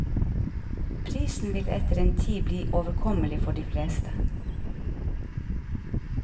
Prisen vil etter en tid bli overkommelig for de fleste.